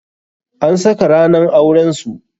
An saka ranan auren su.